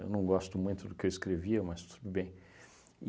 Eu não gosto muito do que eu escrevia, mas tudo bem.